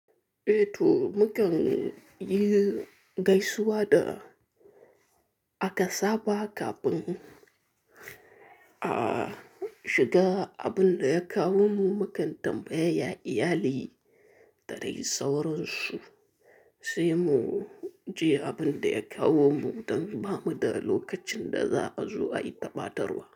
Eh to, mu kan yi gaisuwa da aka saba kafin a shiga, abin da ya kawo mu mu kan tambaya ya iyali, da dai sauransu. Sai mu je abin da ya kawo mu, don ba mu da lokacin da za a zo ai ta ɓatarwa.